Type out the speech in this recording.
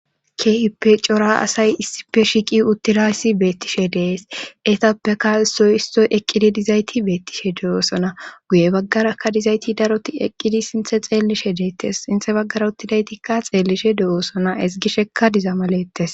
keippe cora asay issife shiqi uttidayssi beettishe dees etappeka isoy istoy eqqidi dizayti beettishe de7oosona guye baggarakka dizayti daroti eqqidi sinthe xeellishe deettes sinthe baggara uttidaytikka xeellishe de7oosona esgishekka dizama lettes